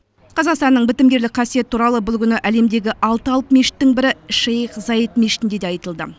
қазақстанның бітімгерлік қасиеті туралы бұл күні әлемдегі алты алып мешіттің бірі шейх заид мешітінде де айтылды